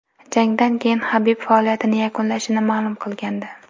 Jangdan keyin Habib faoliyatini yakunlashini ma’lum qilgandi .